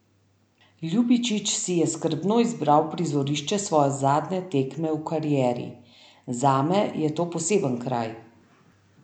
Ljubičić si je skrbno izbral prizorišče svoje zadnje tekme v karieri: "Zame je to poseben kraj.